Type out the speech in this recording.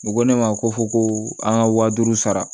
U ko ne ma ko fo ko an ka waa duuru sara